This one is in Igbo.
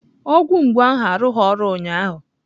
Ọgwụ mgbu ahụ arụghị ọrụ ụnyaahụ.